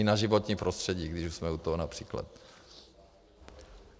I na životní prostředí, když už jsme u toho, například.